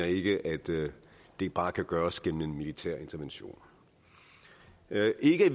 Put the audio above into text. ikke at det det bare kan gøres gennem en militær intervention det er ikke